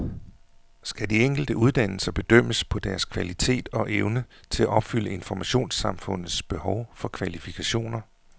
Skal de enkelte uddannelser bedømmes på deres kvalitet og evne til at opfylde informationssamfundets behov for kvalifikationer?